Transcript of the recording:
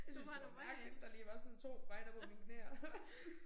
Jeg syntes det var mærkeligt der lige var sådan 2 fregner på mine knæ og sådan